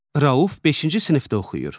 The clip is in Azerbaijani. Rauf beşinci sinifdə oxuyur.